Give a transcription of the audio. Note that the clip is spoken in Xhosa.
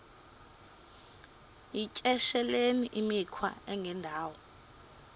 yityesheleni imikhwa engendawo